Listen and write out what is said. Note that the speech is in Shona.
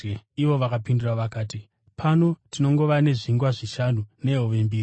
Ivo vakapindura vakati, “Pano tinongova nezvingwa zvishanu nehove mbiri.”